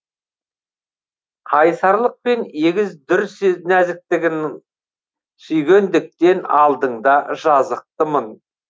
қайсарлықпен егіз дүр нәзіктігің сүйгендіктен алдыңда жазықтымын